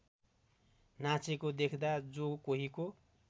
नाचेको देख्दा जो कोहीको